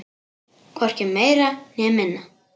Hvorki meira né minna.